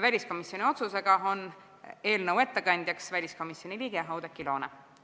Väliskomisjoni otsusega on eelnõu ettekandjaks väliskomisjoni liige Oudekki Loone.